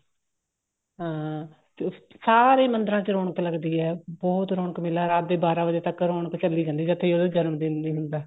ਹਾਂ ਸਾਰੇ ਮੰਦਰਾਂ ਚ ਰੋਣਕ ਲੱਗਦੀ ਹੈ ਬਹੁਤ ਰੋਣਕ ਮੇਲਾ ਰਾਤ ਦੇ ਬਾਰਾਂ ਵਜੇ ਤੱਕ ਰੋਣਕ ਚੱਲੀ ਜਾਂਦੀ ਹੈ ਜਦ ਤੱਕ ਉਹਦਾ ਜਮਨਦਿਨ ਨੀ ਹੁੰਦਾ